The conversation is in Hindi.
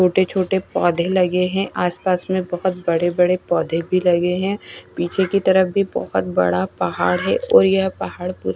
छोटे-छोटे पौधे लगे हैं आसपास में बहोत बड़े-बड़े पौधे भी लगे हैं पीछे की तरफ भी बहोत बड़ा पहाड़ है और यह पहाड़ पुरा --